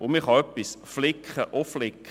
Man kann etwas flicken und flicken.